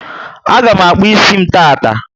A ga mụ akpu ísì m taata